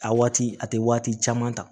A waati a tɛ waati caman ta